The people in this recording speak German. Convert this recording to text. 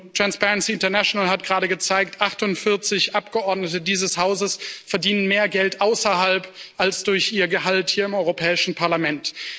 Und Transparency International hat gerade gezeigt 48 Abgeordnete dieses Hauses verdienen mehr Geld außerhalb als durch ihr Gehalt hier im Europäischen Parlament.